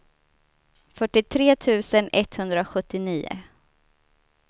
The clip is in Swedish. fyrtiotre tusen etthundrasjuttionio